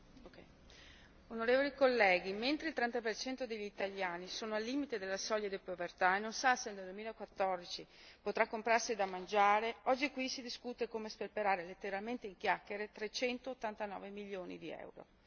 Signor Presidente, onorevoli colleghi, mentre il 30 per cento degli italiani è al limite della soglia di povertà e non sa se nel 2014 potrà comprarsi da mangiare, oggi qui si discute su come sperperare letteralmente in chiacchiere 389 milioni di euro.